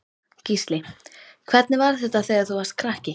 Gísli: Hvernig var þetta þegar þú varst krakki?